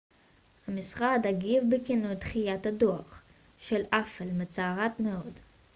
המשרד הגיב בכינוי דחיית הדוח של אפל מצערת מאוד